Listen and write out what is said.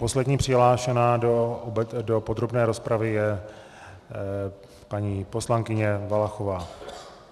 Poslední přihlášená do podrobné rozpravy je paní poslankyně Valachová.